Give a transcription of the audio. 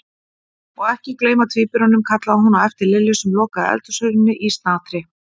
Og ekki gleyma tvíburunum kallaði hún á eftir Lillu sem lokaði eldhúshurðinni í snatri.